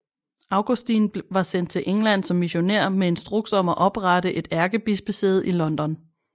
Augustin var sendt til England som missionær med instruks om at oprette et ærkebispesæde i London